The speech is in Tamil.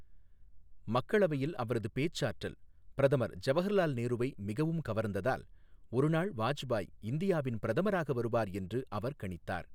மக்களவையில் அவரது பேச்சாற்றல் பிரதமர் ஜவஹர்லால் நேருவை மிகவும் கவர்ந்ததால், ஒருநாள் வாஜ்பாய் இந்தியாவின் பிரதமராக வருவார் என்று அவர் கணித்தார்.